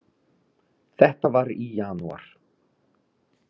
Þetta var í janúar.